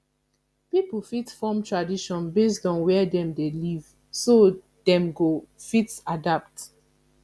pipo fit form tradition based on where dem de live so that dem go fit adapt